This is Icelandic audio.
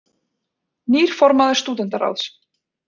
Nýr formaður Stúdentaráðs